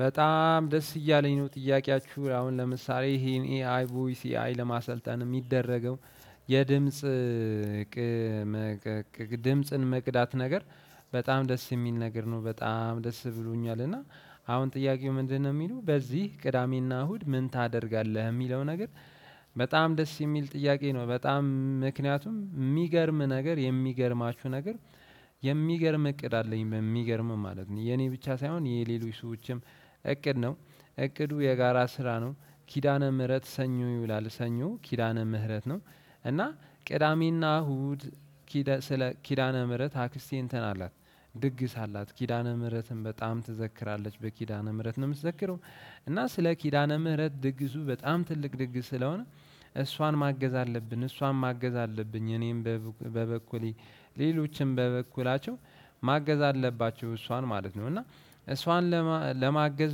በጣም ደስ እያለኝ ነው ጥያቄያችሁ አሁን ለምሳሌ ይሄን ኤ አይ ቮይሲ ኤ አይ ለማሰልጠን የሚደረገው የድምጽ ድምጽን መቅዳት ነገር በጣም ደስ የሚል ነገር ነው በጣም ደስ ብሎኛል፤ እና አሁን ጥያቄው ምንድነው የሚለው በዚህ ቅዳሜና እሁድ ምን ታደርጋለህ የሚለው ነገር በጣም ደስ የሚል ጥያቄ ነው በጣም ምክንያቱም የሚገርም ነገር የሚገርማችሁ ነገር የሚገርም እቅድ አለኝ በሚገርምም ማለት ነው የኔ ብቻ ሳይሆን የሌሎች ሰዎችም እቅድ ነው። እቅዱ የጋራ ስራ ነው ኪዳነ ምህረት ሰኞ ይውላል ሰኞ ኪዳነ ምህረት ነው፤ እና ቅዳሜና እሁድ ኪደ ስለ ኪዳነ ምህረት አክስቴ እንትን አላት ድግስ አላት። ኪዳነ ምህረትን በጣም ትዘክራለች በኪዳነ ምህረት ነው የምትዘክረው፤ እና ስለ ኪዳነ ምህረት ድግሱ በጣም ትልቅ ድግስ ስለሆነ እሷን ማገዝ አለብን እሷን ማገዝ አለብኝ እኔም በበኩሌ ሌሎችም በበኩላቸው ማገዝ አለባችሁ እሷን ማለት ነው፤ እና እሷን ለማገዝ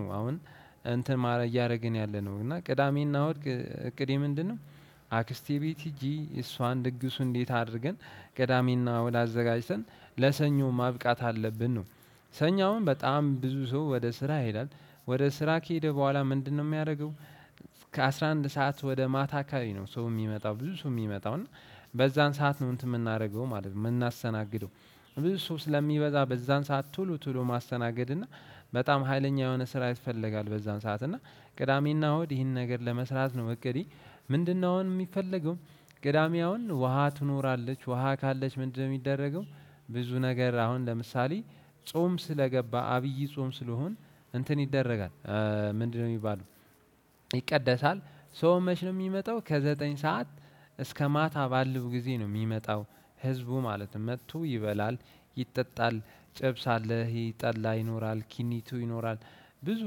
ነው አሁን እንትን ማረ እያደረግን እያለነው እና ቅዳሜና እሁድ እቅዴ ምንድነው አክስቴ ቤት ሄጄ እሷን ድግሱ እንዴት አድርገን ቅዳሚና እሁደ አዘጋጅተን ለሰኞ ማብቃት አለብን ነው። ሰኞ አሁን በጣም ብዙ ሰው ወደ ስራ ይሄዳል። ወደ ስራ ከሄደ በኋላ ምንድነው የሚያደርገው። ከአስራ አንድ ሰዓት ወደ ማታ አካባቢ ነው ሰው የሚመጣው ብዙ ሰው የሚመጣው እና በዛን ሰዓት ነው እንትን የምናደርገው ማለት ነው የምናሰናግደው። ብዙ ሰው ስለሚበዛ በዛን ሰዓት ቶሉ ቶሉ ማስተናገድ እና በጣም ሀይለኛ የሆነ ስራ ያስፈልጋል በዛን ሰዓት እና ቅዳሜና እሁድ ይህን ነገር ለመስራት ነው እቅዴ ምንድነው አሁን የሚፈለገው ቅዳሜ አሁን ውሃ ትኖራለች። ውሃ ካለች ምንድነው የሚደረገው ብዙ ነገር አሁን ለምሳሌ ጾም ስለገባ አብይ ጾም ስለሆን እንትን ይደረጋል ምንድነው የሚባለው ይቀደሳል ሰው መች ነው የሚመጣው ከዘጠኝ ሰዓት እስከ ማታ ባለው ጊዜ ነው የሚመጣው ህዝቡ ማለትም መጥቶ ይበላል ይጠጣል ጨብስ አለ ይሄ ጠላ ይኖራል ኪኒቱ ይኖራል ብዙ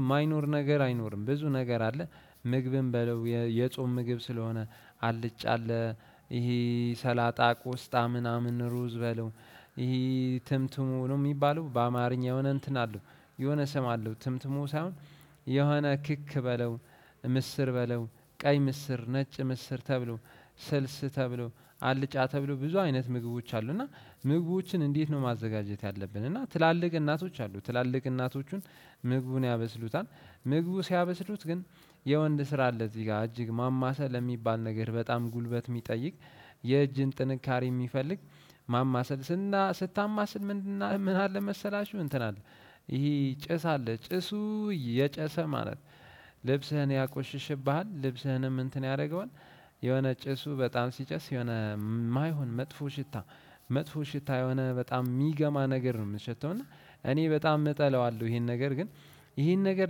የማይኖር ነገር አይኖርም ብዙ ነገር አለ ምግብም በለው የጾም ምግብ ስለሆነ አልጫ አለ ይሄ ሰላጣ ቆስጣ ምናምን ሩዝ በለው ይሄ ትምትሙ ነው የሚባለው በአማርኛ የሆነ እንትን አለው የሆነ ስም አለው ትምትሙ ሳይሆን የሆነ ክክ በለው ምስር በለው ቀይ ምስር ነጭ ምስር ተብሎ ስልስ ተብለው አልጫ ተብለው ብዙ አይነት ምግቦች አሉ እና ምግቦችን እንዴት ነው ማዘጋጀት ያለብን እና ትላልቅ እናቶች አሉ ትላልቅ እናቶቹን ምግቡን ያበስሉታል። ምግቡ ሲያበስሉት ግን የወንድ ስራ አለ እዚህ ጋር እጅግ ማማሰል የሚባል ነገር በጣም ጉልበት የሚጠይቅ የእጅን ጥንካሬ የሚፈልግ ማማሰል ስና ስታማስል ምን ምን አለ መሰላችሁ እንትን አለ ይሄ ጭስ አለ ጭሱ እየጨሰ ማለት ልብስህን ያቆሽሽብሃል ልብስህንም እንትን ያደረገዋል የሆነ ጭሱ በጣም ሲጨስ የሆነ የማይሆን መጥፎ ሽታ መጥፎ ሽታ የሆነ በጣም የሚገማ ነገር ነው የምትሸተው እና እኔ በጣም እጠላዋለሁ ይሄን ነገር ግን ይሄን ነገር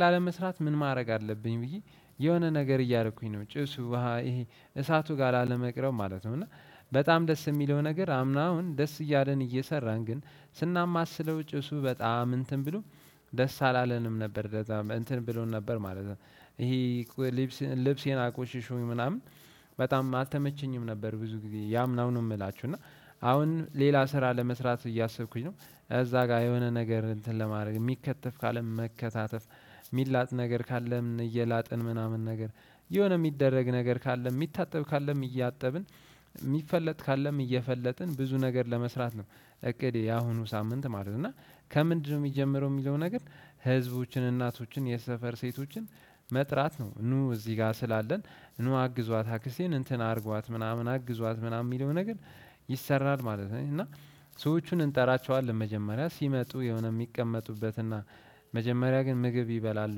ላለመስራት ምን ማድረግ አለብኝ ብዬ የሆነ ነገር እያደረኩኝ ነው ጭሱ ይሄ እሳቱ ጋር ላለመቅረብ ማለት ነው፤ እና በጣም ደስ የሚለው ነገር አምና አሁን ደስ እያለን እየሰራን ግን ስናማስለው ጭሱ በጣም እንትን ብሎ ደስ አላለንም ነበር ለዛሞ እንትን ብሎን ነበር ማለት ነው። ይሄ ይሄ ልብስ ልብሴን አቆሽሾኝ ምናምን በጣም አልተመቸኝም ነበር ብዙ ጊዜ የአምናው ነው የምላችሁ እና አሁን ሌላ ስራ ለመስራት እያሰብኩኝ ነው። እዛ ጋር የሆነ ነገር እንትን ለማድረግ የሚከተፍ ካለ መከታተፍ የሚላጥ ነገር ካለ እየላጥን ምናምን ነገር የሆነ የሚደረግ ነገር ካለ የሚታጠብ ካለም እያጠብን የሚፈለጥ ካለም እየፈለጥን ብዙ ነገር ለመስራት ነው እቅዴ ያሁኑ ሳምንት ማለት ነው እና ከምንድነው የሚጀምረው የሚለው ነገር ህዝቦችን እናቶችን የሰፈር ሴቶችን መጥራት ነው ኑ እዚህ ጋር ስላለን ኑ አግዟት አክስቴን እንትን አድርጓት ምናምን አግዟት ምናምን የሚለውን ነገር ይሰራል ማለት ነው፤ እና ሰዎቹን እንጠራቸዋለን መጀመሪያ ሲመጡ የሆነ የሚቀመጡበትና መጀመሪያ ግን ምግብ ይበላሉ።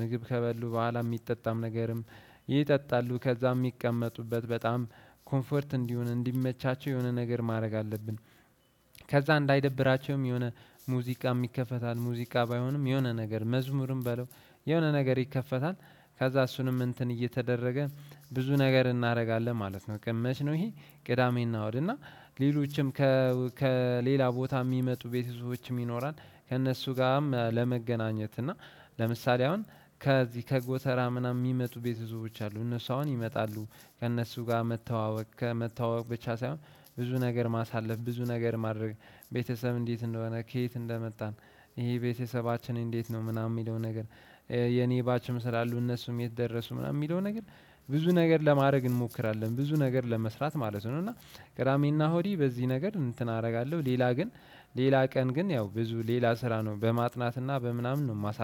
ምግብ ከበሉ በኋላ የሚጠጣም ነገርም ይጠጣሉ። ከዛም ሚቀመጡበት በጣም ኮንፈርት እንዲሆን እንዲመቻቸው የሆነ ነገር ማድረግ አለብን። ከዛ እንዳይደብራቸውም የሆነ ሙዚቃም ይከፈታል። ሙዚቃ ባይሆንም የሆነ ነገር መዝሙርም በለው የሆነ ነገር ይከፈታል። ከዛ እሱንም እንትን እየተደረገ ብዙ ነገር እናደርጋለን ማለት ነው። ግን መች ነው ይሄ ቅዳሜ እና እሁድ እና ሌሎችም ከ ከሌላ ቦታ የሚመጡ ቤተሰቦችም ይኖራል። ከእነሱ ጋርም ለመገናኘት እና ለምሳሌ አሁን ከዚህ ከጎተራ ምናምን የሚመጡ ቤተሰቦች አሉ እነሱ አሁን ይመጣሉ። ከእነሱ ጋር መተዋወቅ ከመተዋወቅ ብቻ ሳይሆን ብዙ ነገር ማሳለፍ ብዙ ነገር ማድረግ ቤተሰብ እንዴት እንደሆነ ከየት እንደመጣን ይሄ ቤተሰባችን እንዴት ነው ምናምን የሚለው ነገር የኔ ባችም ስላሉ እነሱም የት ደረሱ ምናምን የሚለው ነገር ብዙ ነገር ለማድረግ እንሞክራለን ብዙ ነገር ለመስራት ማለት ነው እና ቅዳሜና እሁዴ በዚህ ነገር እንትን አደርጋለሁ። ሌላ ግን ሌላ ቀን ግን ያው ብዙ ሌላ ስራ ነው በማጥናትና በምናምን ነው የማሳል